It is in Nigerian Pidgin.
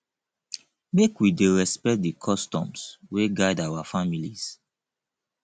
make we dey respect di customs wey guide our families